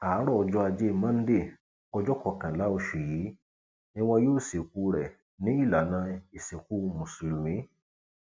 àárọ ọjọ ajé monde ọjọ kọkànlá oṣù yìí ni wọn yóò sìnkú ẹ ní ìlànà ìsìnkú mùsùlùmí